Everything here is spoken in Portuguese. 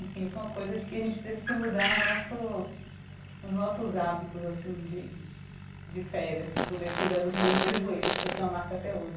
Enfim, foi uma coisa de que a gente teve que mudar o nosso os nossos hábitos, assim, de de férias, para poder cuidar dos meus dois joelhos, que eu tenho uma marca até hoje.